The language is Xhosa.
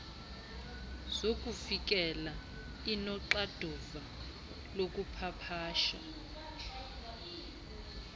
zokufikelela inoxanduva lokupapasha